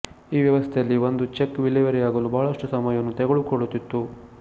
ಈ ವ್ಯವಸ್ಥೆಯಲ್ಲಿ ಒಂದು ಚೆಕ್ ವಿಲೇವಾರಿಯಾಗಲು ಬಹಳಷ್ಟು ಸಮಯವನ್ನು ತೆಗೆದುಕೊಳ್ಳುತ್ತಿತ್ತು